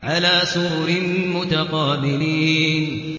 عَلَىٰ سُرُرٍ مُّتَقَابِلِينَ